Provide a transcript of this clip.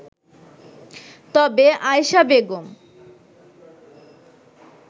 তবে আয়েশা বেগম